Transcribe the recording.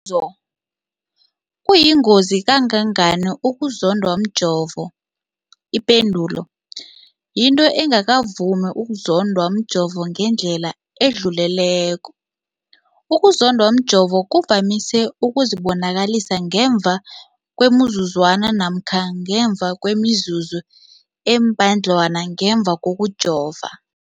Umbuzo, kuyingozi kangangani ukuzondwa mjovo? Ipendulo, yinto engakavami ukuzondwa mjovo ngendlela edluleleko. Ukuzondwa mjovo kuvamise ukuzibonakalisa ngemva kwemizuzwana namkha ngemva kwemizuzu embadlwana ngemva kokujova.